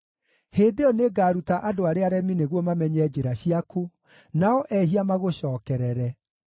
Hĩndĩ ĩyo nĩngaruta andũ arĩa aremi nĩguo mamenye njĩra ciaku, nao ehia magũcookerere.